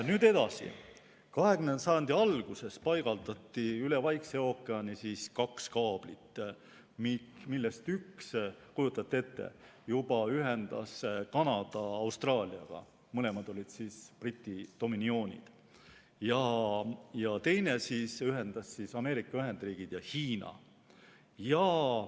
Nüüd edasi, 20. sajandi alguses paigaldati Vaiksesse ookeani kaks kaablit, millest üks, kujutate ette, ühendas Kanada Austraaliaga ja teine ühendas Ameerika Ühendriigid Hiinaga.